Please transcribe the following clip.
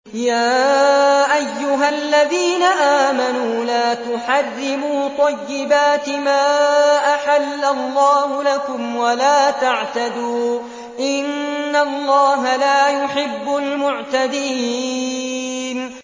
يَا أَيُّهَا الَّذِينَ آمَنُوا لَا تُحَرِّمُوا طَيِّبَاتِ مَا أَحَلَّ اللَّهُ لَكُمْ وَلَا تَعْتَدُوا ۚ إِنَّ اللَّهَ لَا يُحِبُّ الْمُعْتَدِينَ